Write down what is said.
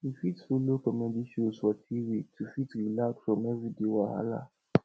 we fit follow comedy shows for tv to fit relax from everyday wahala